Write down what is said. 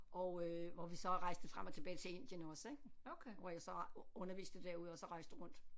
Og øh hvor vi så rejste frem og tilbage til Indien også ik hvor jeg så underviste derude og så rejste rundt